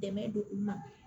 Dɛmɛ don u ma